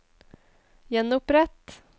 gjenopprett